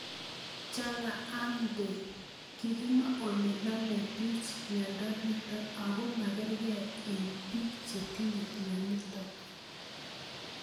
Chang'ang' dhe kikemwa ole namei pich miondo nitok ako makarkei eng' pik chetinye mionitok